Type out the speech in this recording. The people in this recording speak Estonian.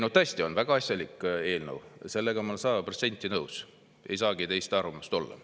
No tõesti on väga asjalik eelnõu, sellega ma olen sada protsenti nõus, ei saagi teist arvamust olla.